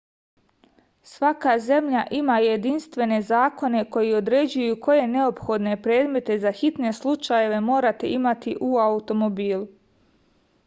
svaka zemlja ima jedinstvene zakone koji određuju koje neophodne predmete za hitne slučajeve morate imati u automobilu